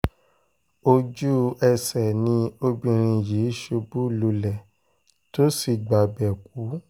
ojú-ẹsẹ̀ ni obìnrin yìí ṣubú lulẹ̀ tó sì gbabẹ̀ kú